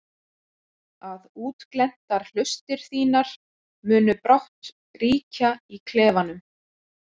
Að útglenntar hlustir þínar munu brátt ríkja í klefanum.